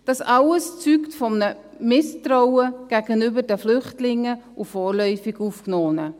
Das alles zeugt von einem Misstrauen gegenüber den Flüchtlingen und vorläufig Aufgenommenen.